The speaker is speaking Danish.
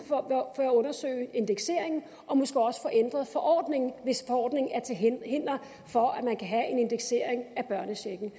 at undersøge indekseringen og måske også få ændret forordningen hvis forordningen er til hinder for en indeksering af børnechecken